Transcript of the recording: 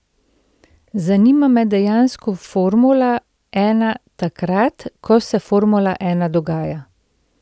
Zanima me dejansko formula ena takrat, ko se formula ena dogaja.